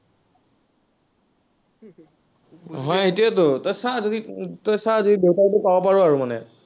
হয় এইটোৱেতো তই চা যদি, তই চা যদি দেউতাৰটো পাব পাৰ আৰু মানে।